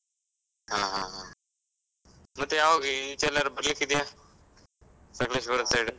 ಆ ಹಾ ಹಾ, ಮತ್ತೆ ಯಾವಾಗ, ಈಚೆ ಎಲ್ಲಾದ್ರೂ ಬರ್ಲಿಕ್ಕ್ ಇದ್ಯಾ? ಸಕಲೇಶ್ವರದ್ side ?